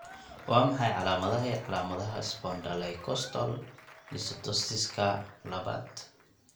Waa maxay calaamadaha iyo calaamadaha Spondylocostal dysostosiska labad?